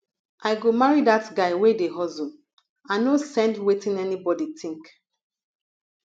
i go marry dat guy wey dey hustle i no send wetin anybodi tink